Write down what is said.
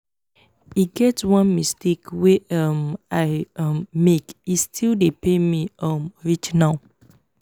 e get one mistake wey um i um make e still dey pain me um reach now